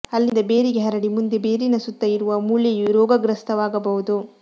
ಅಲ್ಲಿಂದ ಬೇರಿಗೆ ಹರಡಿ ಮುಂದೆ ಬೇರಿನ ಸುತ್ತ ಇರುವ ಮೂಳೆಯೂ ರೋಗಗ್ರಸ್ತವಾಗಬಹುದು